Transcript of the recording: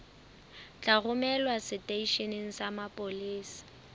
tla romelwa seteisheneng sa mapolesa